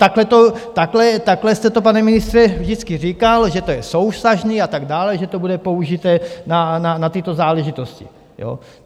Takhle jste to, pane ministře, vždycky říkal, že to je souvztažné a tak dále, že to bude použito na tyto záležitosti.